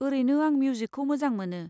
ओरैनो आं मिउजिकखौ मोजां मोनो।